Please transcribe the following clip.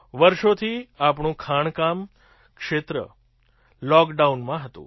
વર્ષોથી આપણું ખાણકામ ક્ષેત્ર લૉકડાઉનમાં હતું